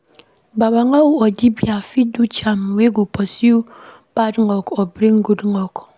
Babalawo or dibia fit do charm wey go pursue bad luck or bring good luck